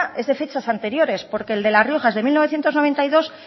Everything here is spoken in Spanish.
es de fechas anteriores porque el de la rioja es de mil novecientos noventa y dos